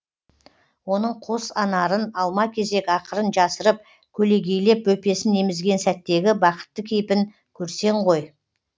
оның қос анарын алма кезек ақырын жасырып көлегейлеп бөпесін емізген сәттегі бақытты кейпін көрсең ғой